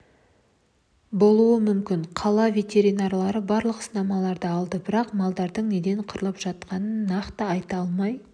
болуы мүмкін қала ветеринарлары барлық сынамаларды алды бірақ малдардың неден қырылып жатқанын нақты айта алмай